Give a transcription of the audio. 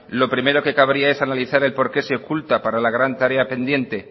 lo primero que cabría es analizar el por qué se oculta para la gran tarea pendiente